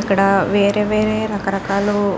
ఇక్కడ వేరే వేరే రకరకాలు --